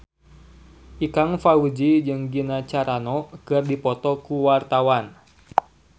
Ikang Fawzi jeung Gina Carano keur dipoto ku wartawan